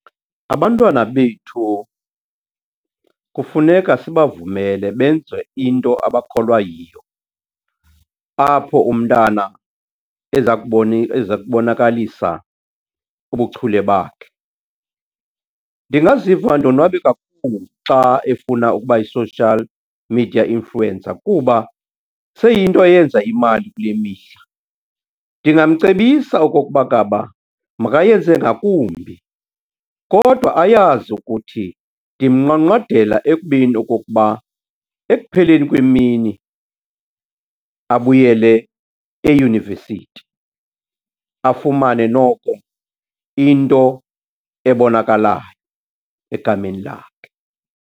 Abantwana bethu kufuneka sibavumele benze into abakholwa yiyo apho umntana eza eza kubonakalisa ubuchule bakhe. Ndingaziva ndonwabe kakhulu xa efuna ukuba yi-social media influencer kuba seyiyinto eyenza imali kule mihla. Ndingamcebisa okokuba ngaba makayenze ngakumbi kodwa ayazi ukuthi ndimnqwanqwadela ekubeni okokuba ekupheleni kwemini abuyele eyunivesiti, afumane noko into ebonakalayo egameni lakhe.